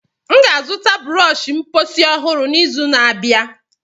M ga-azụta brọsh mposi ọhụrụ n'izu na-abịa.